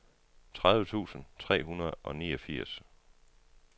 tredive tusind tre hundrede og niogfirs